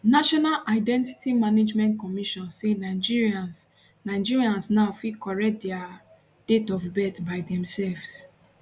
national identity management commission say nigerians nigerians now fit correct dia date of birth by themselves